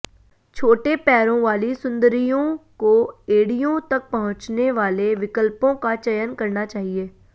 छोटे पैरों वाली सुंदरियों को एड़ियों तक पहुंचने वाले विकल्पों का चयन करना चाहिए